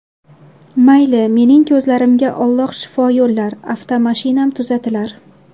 Mayli, mening ko‘zimga Alloh shifo yo‘llar, avtomashinam tuzatilar.